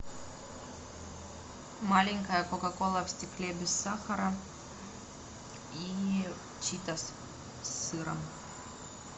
маленькая кока кола в стекле без сахара и читос с сыром